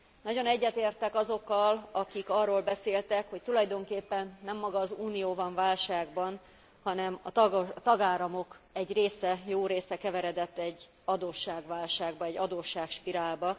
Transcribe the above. Nagyon egyetértek azokkal, akik arról beszéltek, hogy tulajdonképpen nem maga az Unió van válságban, hanem a tagállamok egy része, jó része keveredett egy adósságválságba, egy adósságspirálba.